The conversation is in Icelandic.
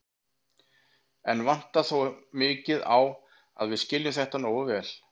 Enn vantar þó mikið á að við skiljum þetta nógu vel.